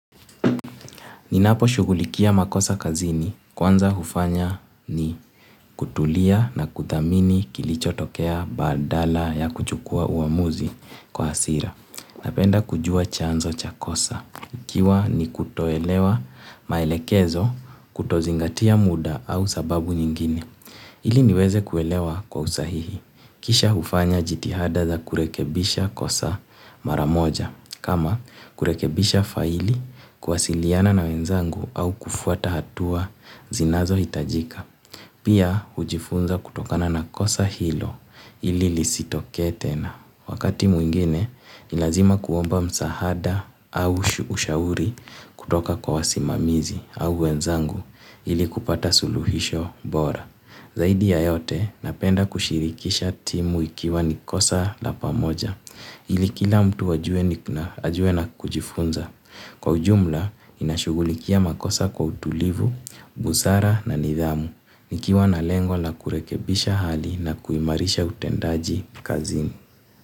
Ninapo shugulikia makosa kazini kwanza hufanya ni kutulia na kuthamini kilichotokea badala ya kuchukua uamuzi kwa hasira. Napenda kujua chanzo cha kosa. Ikiwa ni kutoelewa maelekezo kutozingatia muda au sababu nyingine. Ili niweze kuelewa kwa usahihi. Kisha hufanya jitihada za kurekebisha kosa maramoja. Kama kurekebisha faili, kuwasiliana na wenzangu au kufuata hatua zinazo hitajika. Pia hujifunza kutokana na kosa hilo ili lisitoke tena. Wakati mwingine, ni lazima kuomba msaada au ushauri kutoka kwa wasimamizi au wenzangu ili kupata suluhisho bora. Zaidi ya yote, napenda kushirikisha timu ikiwa nikosa la pamoja, ilikila mtu ajue na kujifunza. Kwa ujumla, ninashugulikia makosa kwa utulivu, busara na nidhamu, nikiwa na lengo la kurekebisha hali na kuimarisha utendaji kazini.